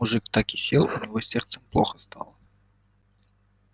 мужик так и сел у него с сердцем плохо стало